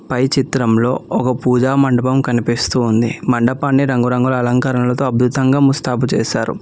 పై చిత్రంలో ఒక పూజా మండపం కనిపిస్తూ ఉంది మండపాన్ని రంగురంగుల అలంకరణలతో అద్భుతంగా ముస్తాబు చేశారు.